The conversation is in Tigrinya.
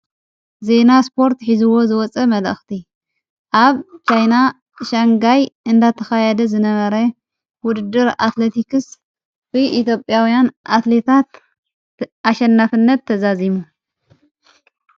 ዜና ስጶርት ኂዝዎ ዝወጸ መጠእኽቲ ኣብ ሻይና ሻንጋይ እንዳተኻያደ ዝነበረ ውድድር ኣትለቲክስ ኢቶጴያውያን ኣትሌታት ኣሸናፍነት ተዛዚሙ።